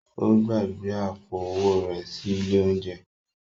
Ó gbàgbé àpò-owó rẹ̀ sí ilé-oúnjẹ.